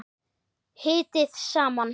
Hitið saman.